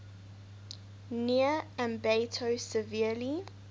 near ambato severely